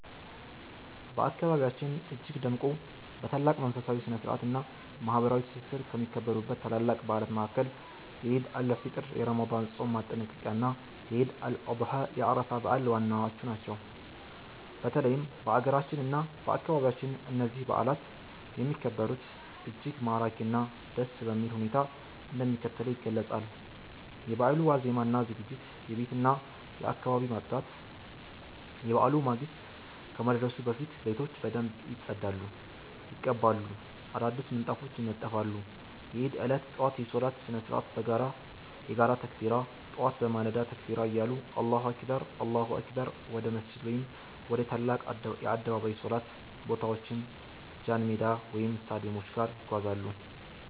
በአካባቢያችን እጅግ ደምቆ፣ በታላቅ መንፈሳዊ ስነ-ስርዓት እና ማህበራዊ ትስስር ከሚከበሩት ታላላቅ በዓላት መካከል የዒድ አል-ፊጥር የረመዳን ጾም ማጠናቀቂያ እና የዒድ አል-አድሃ የአረፋ በዓል ዋናዎቹ ናቸው። በተለይም በአገራችን እና በአካባቢያችን እነዚህ በዓላት የሚከበሩበት እጅግ ማራኪ እና ደስ የሚል ሁኔታ እንደሚከተለው ይገለጻል፦ የበዓሉ ዋዜማ እና ዝግጅት የቤትና የአካባቢ ማፅዳት፦ የበዓሉ ማግስት ከመድረሱ በፊት ቤቶች በደንብ ይጸዳሉ፣ ይቀባሉ፣ አዳዲስ ምንጣፎች ይነጠፋሉ። የዒድ ዕለት ጠዋት የሶላት ስነ-ስርዓት የጋራ ተክቢራ፦ ጠዋት በማለዳ ተክቢራ እያሉ አላሁ አክበር፣ አላሁ አክበር... ወደ መስጂድ ወይም ወደ ትላልቅ የአደባባይ ሶላት ቦታዎች ጃንሜዳ ወይም ስታዲየሞች በጋራ ይጓዛሉ።